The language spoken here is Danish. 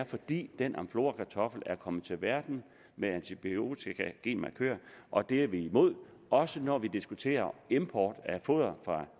fordi den amflorakartoffel er kommet til verden med antibiotika genmarkør og det er vi imod også når vi diskuterer import af foder fra